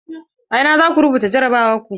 A ina zaku rubuta jarabawar ku?